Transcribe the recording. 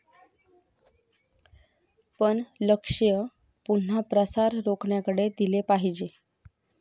पण लक्ष्य पुन्हा प्रसार रोखण्याकडे दिले पाहिजे.